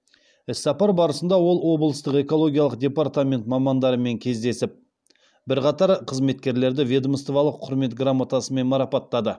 іс сапар барысында ол облыстық экологиялық депертамент мамандарымен кездесіп бірқатар қызметкерлерді ведомстволық құрмет грамотасымен марапаттады